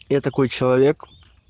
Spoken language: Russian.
я такой человек